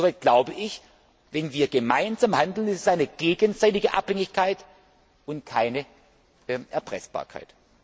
Insofern glaube ich Wenn wir gemeinsam handeln, ist es eine gegenseitige Abhängigkeit und keine Erpressbarkeit.